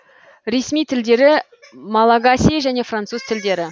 ресми тілдері малагасий және француз тілдері